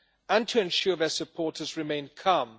and to ensure their supporters remained calm.